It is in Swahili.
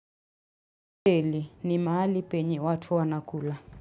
Teli ni mahali penye watu wanakula.